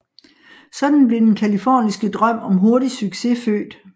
Sådan blev den californiske drøm om hurtig succes født